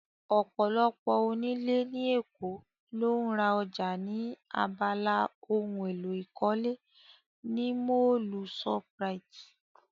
Ọ̀pọ̀lọpọ̀ onílé ní Èkó ló ń ra ọjà ní abala ohun èlò ìkọ́lé ní Mọ́ọ̀lù shoprite